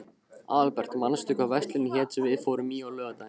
Aðalbert, manstu hvað verslunin hét sem við fórum í á laugardaginn?